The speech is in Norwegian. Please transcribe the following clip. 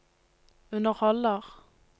underholder